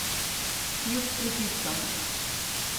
Kljub pritiskom.